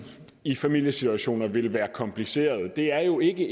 i familiesituationer vil være kompliceret det er jo ikke